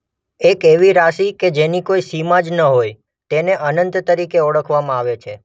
એક એવી રાશિ કે જેની કોઇ સીમા જ ન હોય તેને અનંત તરીકે ઓળખવામાં આવે છે.